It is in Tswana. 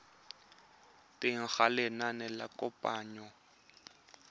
teng ga lenane la kananyo